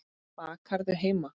Bakarðu heima?